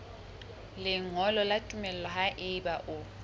lengolo la tumello haeba o